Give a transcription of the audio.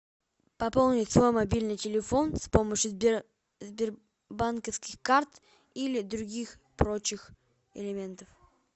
пополнить свой мобильный телефон с помощью сбербанковских карт или других прочих элементов